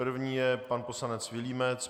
První je pan poslanec Vilímec.